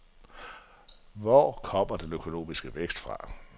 For hvor kommer den økonomiske vækst fra?